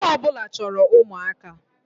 Nwoke ọ bụla chọrọ ụmụaka